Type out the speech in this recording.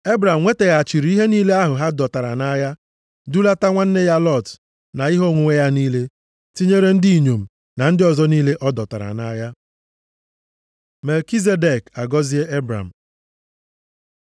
Ebram nwetaghachiri ihe niile ahụ ha dọtara nʼagha, dulata nwanne ya Lọt, na ihe onwunwe ya niile, tinyere ndị inyom, na ndị ọzọ niile a dọtara nʼagha. Melkizedek agọzie Ebram